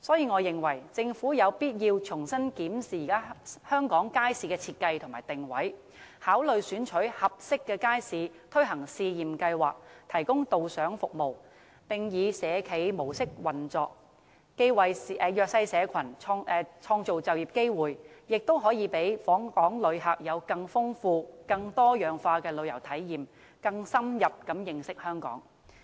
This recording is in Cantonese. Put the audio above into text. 我認為，政府有必要重新審視街市的設計和定位，考慮選取合適的街市推行試驗計劃，提供導賞服務，並以社企模式運作，既為弱勢社群創造就業機會，亦能讓訪港旅客有更豐富、更多樣化的旅遊體驗，更深入認識香港。